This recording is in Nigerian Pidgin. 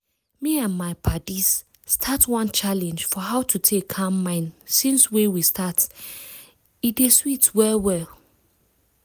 me and my paddies start one challenge for how to take calm mind since wey we start e dey sweet well well.